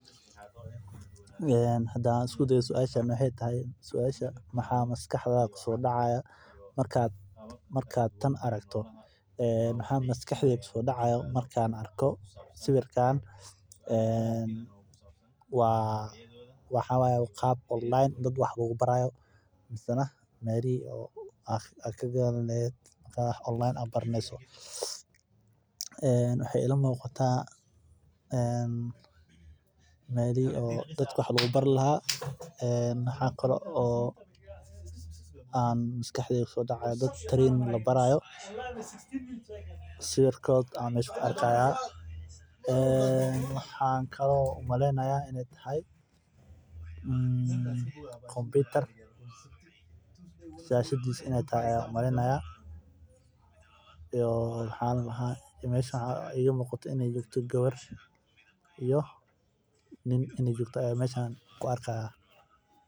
Hadaan isku dayo suashan waxaay tahay maxaa maskaxdada kusoo dacaaya markaad tan aragto waxaa maskaxdeyda kusoo dacaaya markaan arko sawiirkaan waxaa waye qaab dadka wax lagu baraayo waxeey iila muuqata melihi dadka wax lagu bari haayo sawiirkoda ayaa meesha ku arki haaya waxaan umaleyni haaya kompitar shahshadiisa inaay tahay gabar iyo nin inaay joogan ayaan arki haaya.